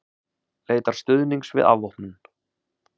Leitar stuðnings við afvopnun